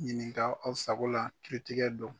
Ɲininka aw sago la kiritigɛ don.